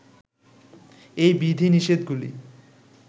এই বিধি-নিষেধগুলি